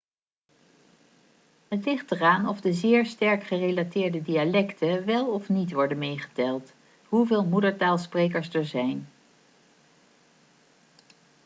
het ligt eraan of de zeer sterk gerelateerde dialecten wel of niet worden meegeteld hoeveel moedertaalsprekers er zijn